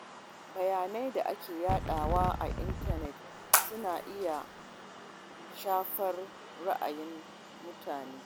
Bayanan da ake yadawa a intanet suna iya shafar ra’ayin mutane.